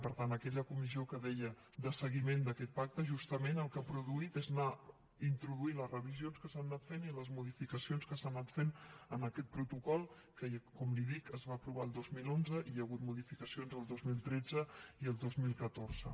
per tant aquella comissió que deia de seguiment d’aquest pacte justament el que ha produït es anar introduint les revisions que s’han anat fent i les modificacions que s’han anat fent en aquest protocol que com li dic es va aprovar el dos mil onze i n’hi ha hagut modificacions el dos mil tretze i el dos mil catorze